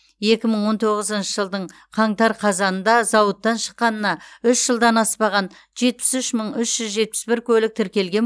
екі мың он тоғызыншы жылдың қаңтар қазанында зауыттан шыққанына үш жылдан аспаған жетпіс үш мың үш жүз жетпіс бір көлік тіркелген